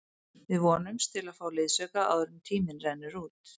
Við vonumst til að fá liðsauka áður en tíminn rennur út.